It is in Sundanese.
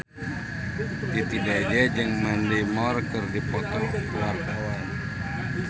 Titi DJ jeung Mandy Moore keur dipoto ku wartawan